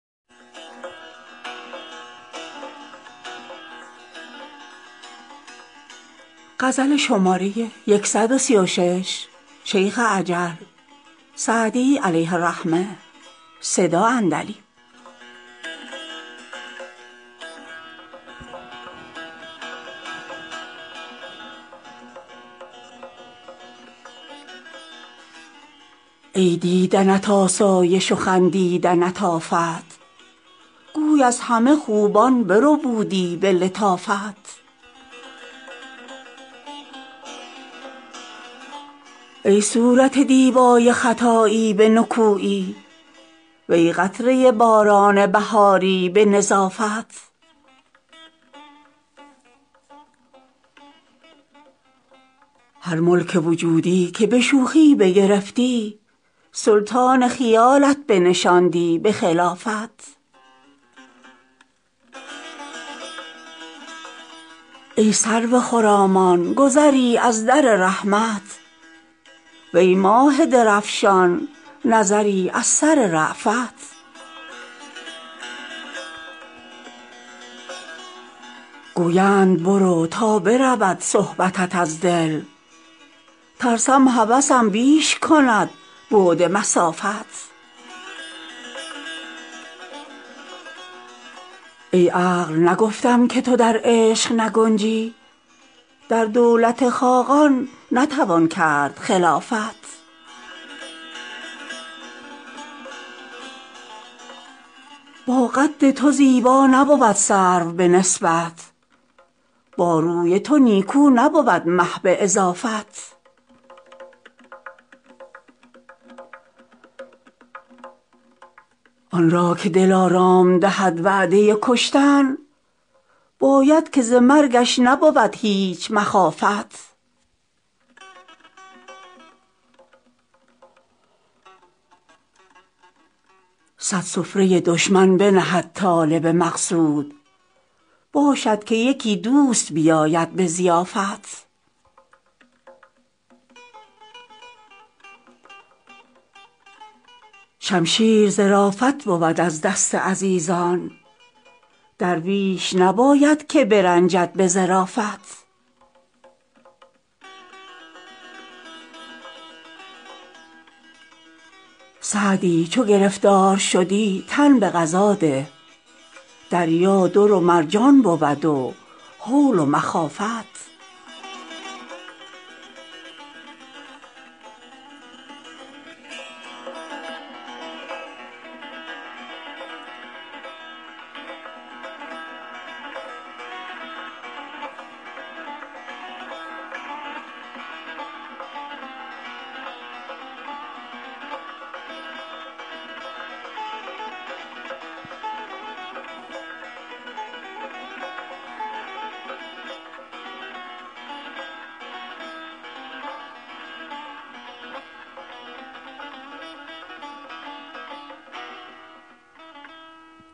ای دیدنت آسایش و خندیدنت آفت گوی از همه خوبان بربودی به لطافت ای صورت دیبای خطایی به نکویی وی قطره باران بهاری به نظافت هر ملک وجودی که به شوخی بگرفتی سلطان خیالت بنشاندی به خلافت ای سرو خرامان گذری از در رحمت وی ماه درفشان نظری از سر رأفت گویند برو تا برود صحبتت از دل ترسم هوسم بیش کند بعد مسافت ای عقل نگفتم که تو در عشق نگنجی در دولت خاقان نتوان کرد خلافت با قد تو زیبا نبود سرو به نسبت با روی تو نیکو نبود مه به اضافت آن را که دلارام دهد وعده کشتن باید که ز مرگش نبود هیچ مخافت صد سفره دشمن بنهد طالب مقصود باشد که یکی دوست بیاید به ضیافت شمشیر ظرافت بود از دست عزیزان درویش نباید که برنجد به ظرافت سعدی چو گرفتار شدی تن به قضا ده دریا در و مرجان بود و هول و مخافت